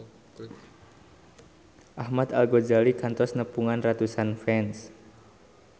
Ahmad Al-Ghazali kantos nepungan ratusan fans